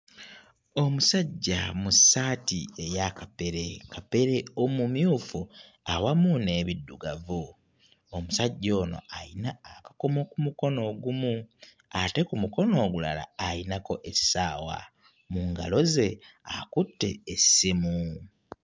Omusajja mu ssaati eya kapere kapere omumyufu awamu n'ebiddugavu. Omusajja ono ayina akakomo ku mukono ogumu ate ku mukono omulala ayinako essaawa. Mu ngalo ze akutte essimu.